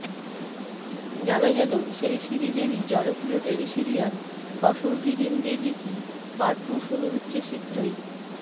জানা গেল সেই সিরিজেরই জনপ্রিয় tele serial Kasautii Zindagii Kay part two শুরু হচ্ছে শীঘ্রই